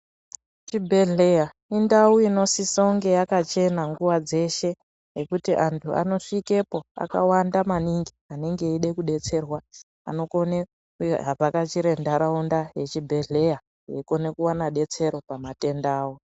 Chi bhedhleya indau inosise unge yakachena nguva dzeshe ngekuti antu ano svikepo akawanda maningi anenge eyide kudetserwa anokone ku vhakachire ndaraunda ye chibhedhleya eikone kuwane betsero pa matenda awo.